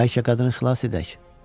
Bəlkə qadını xilas edək?